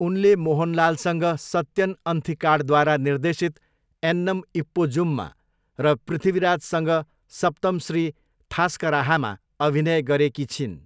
उनले मोहनलालसँग सत्यन अन्थिकाडद्वारा निर्देशित एन्नम् इप्पोजुममा र पृथ्वीराजसँग सप्तमश्री थास्कराहामा अभिनय गरेकी छिन्।